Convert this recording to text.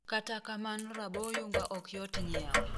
Kata kaman raboyunga ok yot nyiewo.